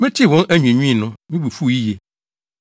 Metee wɔn anwiinwii no, me bo fuw yiye.